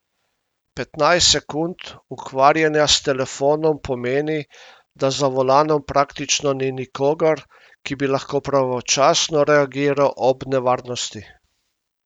Petnajst sekund ukvarjanja s telefonom pomeni, da za volanom praktično ni nikogar, ki bi lahko pravočasno reagiral ob nevarnosti.